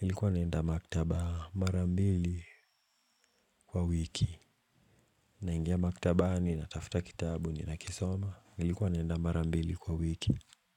Nilikuwa naenda maktaba marambili kwa wiki, naingia maktabani natafuta kitabu ninakisoma, nilikuwa naenda marambili kwa wiki.